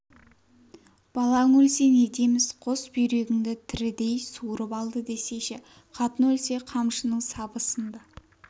балаң өлсе не дейміз қос бүйрегіңді тірідей суырып алды десейші қатын өлсе қамшының сабы сынды